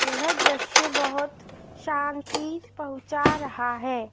यह दृश्य बहोत शांति पहुंचा रहा है।